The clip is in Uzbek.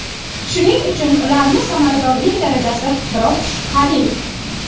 Shuning uchun ularni samaradorlik darajasi biroz shubhali.